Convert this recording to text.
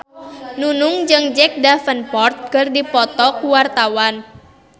Nunung jeung Jack Davenport keur dipoto ku wartawan